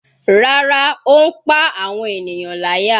Rárá, ó ń pá àwọn ènìyàn láyà.